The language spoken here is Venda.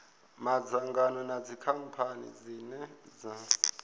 madzangano na dzikhamphani dzine dza